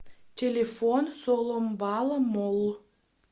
телефон соломбала молл